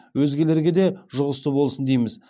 өзгелерге де жұғысты болсын дейміз